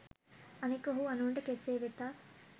අනෙක ඔහු අනුන්ට කෙසේ වෙතත්